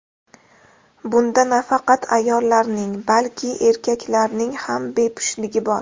Bunda nafaqat ayollarning, balki erkaklarning ham bepushtligi bor.